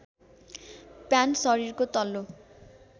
pant शरीरको तल्लो